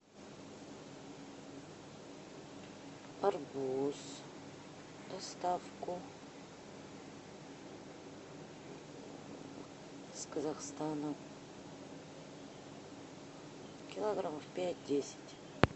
арбуз доставку с казахстана килограммов пять десять